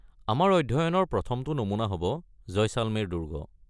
আমাৰ অধ্যয়নৰ প্ৰথমটো নমুনা হ’ব জয়শালমেৰ দুৰ্গ।